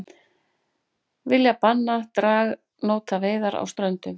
Vilja banna dragnótaveiðar á Ströndum